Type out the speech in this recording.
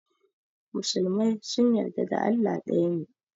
Musulmai sun yarda da Allah ɗaya ne.